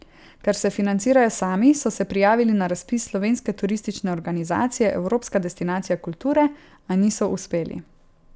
Ker se financirajo sami, so se prijavili na razpis Slovenske turistične organizacije Evropska destinacija kulture, a niso uspeli.